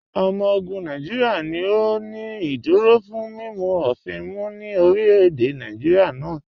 Ọmọ ogun Nàìjíríà ni ó ní ìdúró fún mímu ofìn mú ní orílẹ̀-èdè náà.